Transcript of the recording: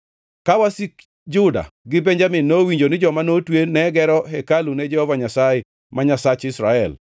Ka wasik Juda gi Benjamin nowinjo ni joma notwe ne gero hekalu ne Jehova Nyasaye, ma Nyasach Israel,